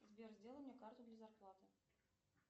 сбер сделай мне карту для зарплаты